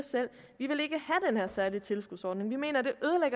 at særlige tilskudsordning de mener